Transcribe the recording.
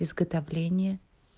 изготовление